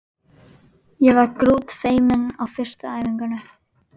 Ég var grútfeimin á fyrstu æfingunni.